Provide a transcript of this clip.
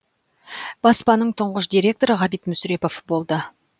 баспаның тұңғыш директоры ғабит мүсірепов болды